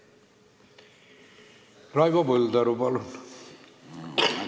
Raivo Põldaru, palun!